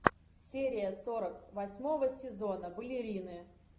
серия сорок восьмого сезона балерины